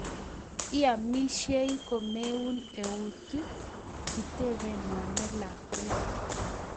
Iamishei komeun eunek?,kitebe mama lakwet